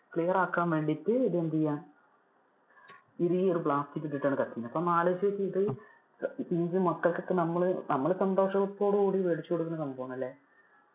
clear ആക്കാൻ വേണ്ടിട്ട് ഇത് എന്ത് ചെയ്യുവാണ്. ഇത് ഈ ഒരു plastic ഇട്ടിട്ട് ആണ്അപ്പൊ ഒന്ന് ആലോചിച്ചു നോക്കിയേ ഇത് നമ്മള് മക്കൾക്ക് നമ്മളു~ നമ്മള് സന്തോഷോത്തോട് കൂടി മേടിച്ചു കൊടുക്കുന്ന സംഭവം ആണല്ലേ.